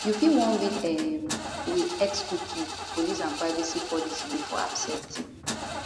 you fit wan read um di xcookie policyandprivacy policybefore accepting